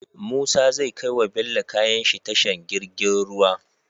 Musa zai kai wa bello kayanshi tashar girgin ruwa